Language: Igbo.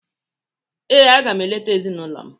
Ee, aga m eleta ezinụlọ m.